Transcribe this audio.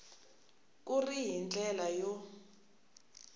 ku ri hi ndlela yo